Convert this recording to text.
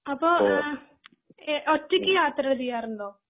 അപ്പൊ ആഹ് ഒറ്റക് യാത്രകൾ ചെയ്യാറുണ്ടോ?